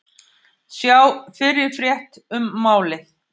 Sjá fyrri frétt um málið